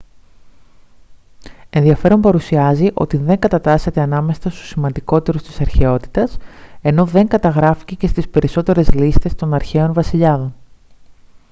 ενδιαφέρον παρουσιάζει ότι δεν κατατάσσεται ανάμεσα στους σημαντικότερους της αρχαιότητας ενώ δεν καταγράφηκε και στις περισσότερες λίστες των αρχαίων βασιλιάδων